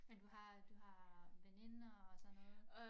Men du har du har veninder og sådan noget